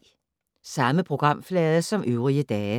Samme programflade som øvrige dage